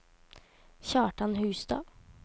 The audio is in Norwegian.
Kjartan Hustad